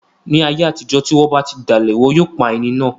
Ni ayé àtijọ́, ti wọ́n ba ti dalẹ̀, wọn yóò pa ẹni náà